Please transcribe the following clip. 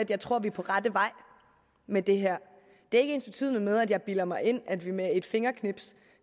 jeg tror vi er på rette vej med det her det er ikke ensbetydende med at jeg bilder mig ind at vi med et fingerknips